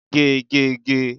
Gé! Gé! Gé!